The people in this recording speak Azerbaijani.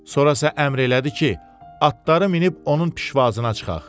Sonra isə əmr elədi ki, atları minib onun pişvazına çıxaq.